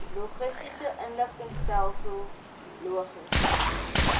logistiese inligtingstelsel logis